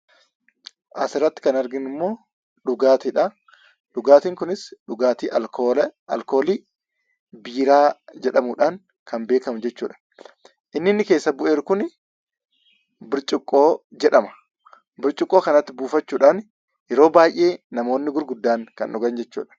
Asirratti kan arginummoo dhugaatiidha. Dhugaatiin kunis dhugaatii alkoolii biiraa jedhamudhaan kan beekamu jechuudha. Inni inni keessatti bu'ee jiru kuni burcuqqoo jedhama. Burcuqqoo kanatti buufachuudhaan yeroo baay'ee namoonni gurguddaan kan dhugan jechaadha.